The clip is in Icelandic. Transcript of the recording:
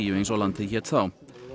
eins og landið hét þá